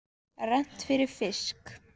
Rennt fyrir fisk.